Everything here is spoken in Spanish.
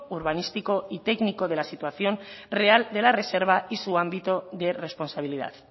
urbanístico y técnico de la situación real de la reserva y su ámbito de responsabilidad